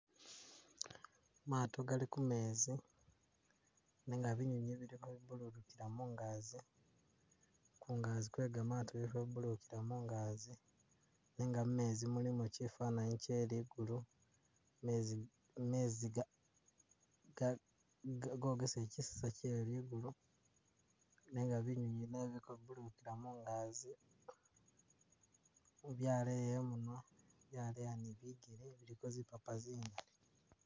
maato gali kumezi, nenga binyinyi bili kwefulukutila mungazi, kungazi kwe gamaato bili kwefulukutila mungazi, nenga mumezi mulimo kifananyi kye ligulu, mezi ga mezi ga ka gogesele kisiza kye ligulu, nenga binyinyi mezi kwefulukutila mungazi byaleya imunwa, byaleya ni bigele, biliko zipapa zingali